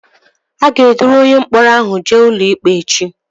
A ga-eduru onye mkpọrọ ahụ jee ụlọikpe echi